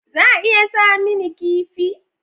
Za a iya saya mini kifi?